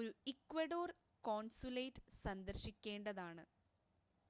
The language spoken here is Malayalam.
ഒരു ഇക്വഡോർ കോൺസുലേറ്റ് സന്ദർശിക്കേണ്ടതാണ്